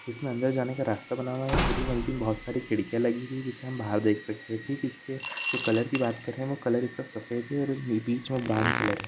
इसमें अंदर जाने का रस्ता बना हुआ है पूरी मल्टी में बहुत सारी खिड़कियां लगी हुई है जिससे हम बाहर देख सकते है ठीक इसके जो कलर की बात कर रहे है वो कलर इसका सफेद और बिच में ब्राउन कलर है।